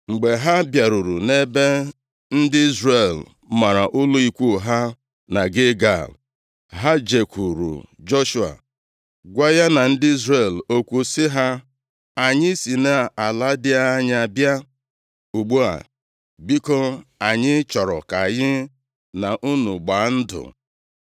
Mgbe ha bịaruru nʼebe ndị Izrel mara ụlọ ikwu ha na Gilgal, ha jekwuuru Joshua, gwa ya na ndị Izrel okwu sị ha, “Anyị si nʼala dị anya bịa. Ugbu a, biko anyị chọrọ ka anyị na unu gbaa ndụ.”